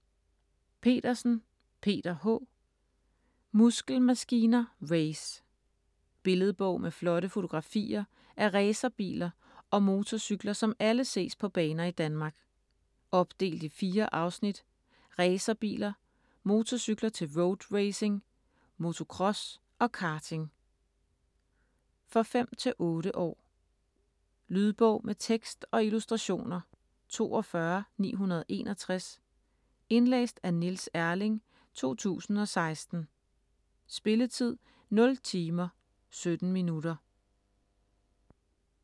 Petersen, Peter H.: Muskelmaskiner race Billedbog med flotte fotografier af racerbiler og motorcykler, som alle ses på baner i Danmark. Opdelt i 4 afsnit: Racerbiler, motorcykler til road racing, motocross og karting. For 5-8 år. Lydbog med tekst og illustrationer 42961 Indlæst af Niels Erling, 2016. Spilletid: 0 timer, 17 minutter.